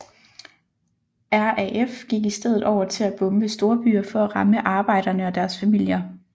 RAF gik i stedet over til at bombe storbyer for at ramme arbejderne og deres familier